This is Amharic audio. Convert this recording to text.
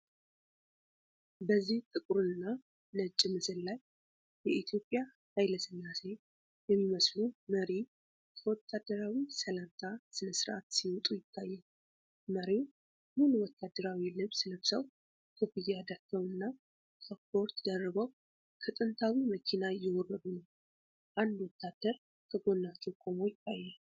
በዚህ ጥቁርና ነጭ ምስል ላይ፣ የኢትዮጵያ ኃይለ ሥላሴ የሚመስሉ መሪ ከወታደራዊ ሰላምታ ሥነ ሥርዓት ሲወጡ ይታያል። መሪው ሙሉ ወታደራዊ ልብስ ለብሰው፣ ኮፍያ ደፍተው እና ካፖርት ደርበው ከጥንታዊ መኪና እየወረዱ ነው። አንድ ወታደር ከጎናቸው ቆሞ ይታያል።